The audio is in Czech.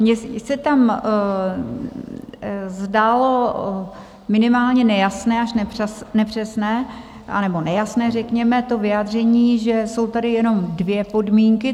Mně se tam zdálo minimálně nejasné až nepřesné, anebo nejasné řekněme to vyjádření, že jsou tady jenom dvě podmínky.